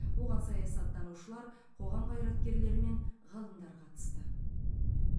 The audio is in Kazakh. оған саясаттанушылар қоғам қайраткерлері мен ғалымдар қатысты